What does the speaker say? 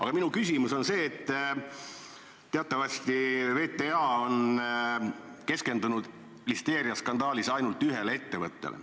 Aga minu küsimus on selle kohta, et teatavasti on VTA listeeriaskandaalis keskendunud ainult ühele ettevõttele.